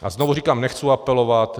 A znovu říkám, nechci apelovat.